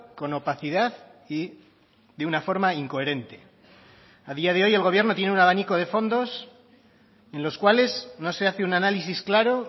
con opacidad y de una forma incoherente a día de hoy el gobierno tiene un abanico de fondos en los cuales no se hace un análisis claro